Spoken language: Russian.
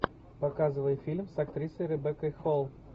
показывай фильм с актрисой ребеккой холл